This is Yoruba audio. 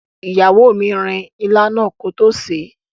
Ìyàwó mi rin ilá náà kótó sèé.